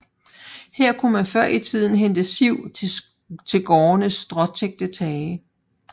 Her kunne man før i tiden hente siv til gårdenes stråtækte tage